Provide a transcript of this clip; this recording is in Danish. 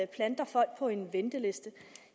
planter folk på en venteliste